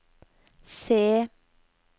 C